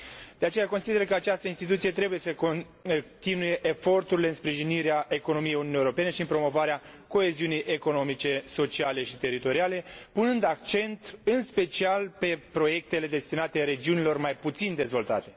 De aceea, consider că această instituție trebuie să continue eforturile în sprijinirea economiei Uniunii Europene și în promovarea coeziunii economice, sociale și teritoriale, punând accent în special pe proiectele destinate regiunilor mai puțin dezvoltate.